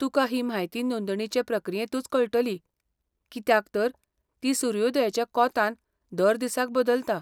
तुका ही म्हायती नोंदणेचे प्रक्रियेंतूच कळटली, कित्याक तर ती सूर्योदयाच्या कोंतान हर दिसाक बदलता.